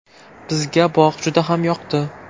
Bizga bog‘ juda ham yoqdi.